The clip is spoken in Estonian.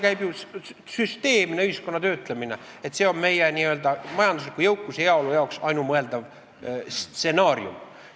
Käib ju süsteemne ühiskonna töötlemine, et see on meie majandusliku jõukuse ja heaolu jaoks ainumõeldav stsenaarium.